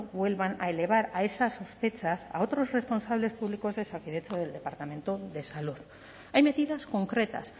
vuelvan a elevar a esas sospechas a otros responsables públicos de osakidetza o del departamento de salud hay medidas concretas